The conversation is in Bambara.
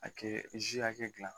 A kɛ zi hakɛ dilan